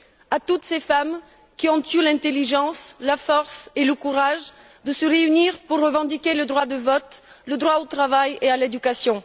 À toutes ces femmes qui ont eu l'intelligence, la force et le courage de se réunir pour revendiquer le droit de vote, le droit au travail et à l'éducation.